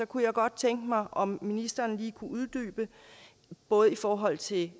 kunne jeg godt tænke mig om ministeren lige kunne uddybe både i forhold til